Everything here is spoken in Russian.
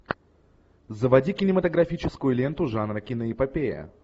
заводи кинематографическую ленту жанра киноэпопея